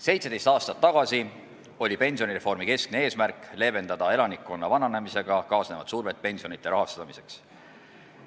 17 aastat tagasi oli pensionireformi keskne eesmärk leevendada elanikkonna vananemisega kaasnevat survet pensionide rahastamiseks.